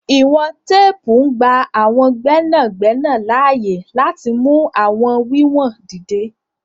Iwọn tèèpu ngba àwọn gbẹnagbẹna laaye lati mú àwọn wiwọn dídẹ̀.